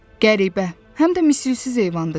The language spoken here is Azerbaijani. Qəribə, həm də misilsiz heyvandır,